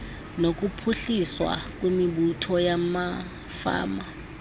nokuphuhliswa kwemibutho yamafama